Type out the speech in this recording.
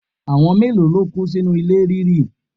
Àwọn mélòó ló kú sínú ilẹ̀ ríri?